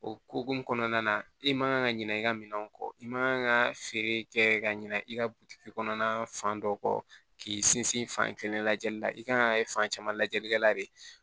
Okun kɔnɔna na i man kan ka ɲina i ka minɛnw kɔ i man kan ka feere kɛ ka ɲina i ka butigi kɔnɔna fan dɔ kɔ k'i sinsin fan kelen lajɛli la i kan ka fan caman lajɛlikɛla de